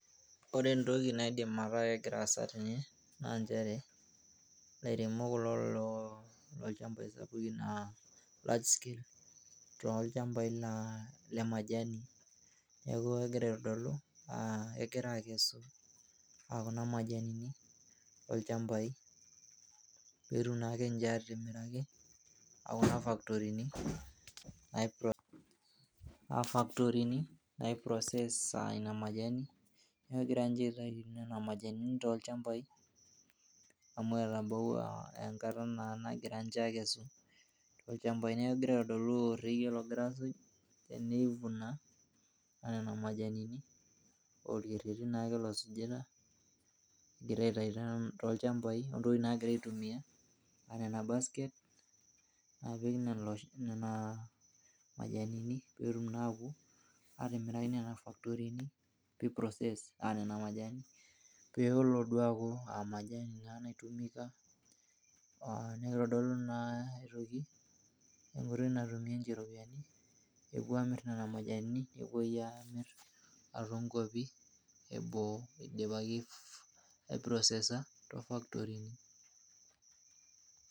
Ore entoki naidim ataa kegira aasa tene naa nchere ilairemok kulo loo nchambai sapukin aa large scale toolchambai le majani . Neku kegira aitodolu ,a kegira akes aa Kuna majanini tolchambai , peetum naake nche atimiraki Kuna faktorini nai process Ina majani. Niaku egira ninche aitayu Nena majanini tolchambai amu etabawua enkata naa nagira nche akesu tolchambai. Niaku kegira aitodolu orekie logira asuj. tenei